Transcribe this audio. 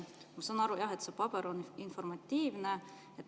Ma saan aru, et see paber on informatiivne.